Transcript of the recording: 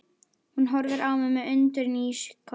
Hún horfir á mig með undrun í ísköld